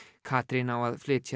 Katrín á að flytja